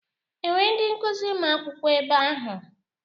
E nwere ndị nkuzi ma akwụkwo ebe ahụ?